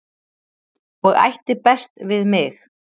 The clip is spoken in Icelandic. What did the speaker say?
og ætti best við mig